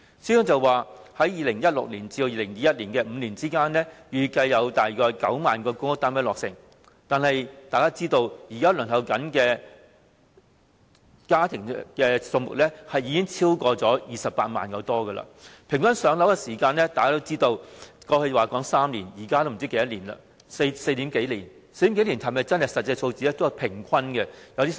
司長表示在2016年至2021年的5年間，預計約有9萬個公屋單位落成，但大家也知道，現時輪候冊上的申請數目已超過28萬個，平均的"上樓"時間由過去的3年延長至現時的4年多，但這還可能只是平均數字。